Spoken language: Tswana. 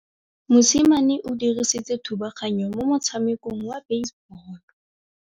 Mosimane o dirile thubaganyô mo motshamekong wa basebôlô.